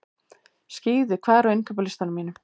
Skíði, hvað er á innkaupalistanum mínum?